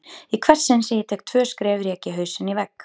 Í hvert sinn sem ég tek tvö skref rek ég hausinn í vegg.